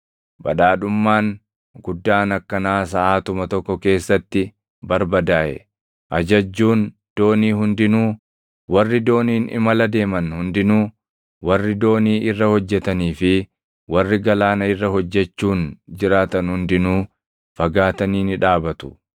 Badhaadhummaan guddaan akkanaa saʼaatuma tokko keessatti barbadaaʼe!’ “Ajajjuun doonii hundinuu, warri dooniin imala deeman hundinuu, warri doonii irra hojjetanii fi warri galaana irra hojjechuun jiraatan hundinuu fagaatanii ni dhaabatu.